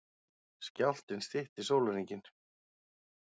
Skjálftinn stytti sólarhringinn